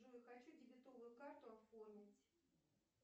джой хочу дебетовую карту оформить